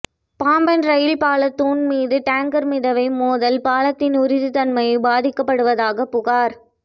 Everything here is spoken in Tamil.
பாம்பன் ரயில் பால தூண் மீதுடேங்கா் மிதவை மோதல்பாலத்தின் உறுதித்தன்மை பாதிக்கப்படுவதாக புகாா்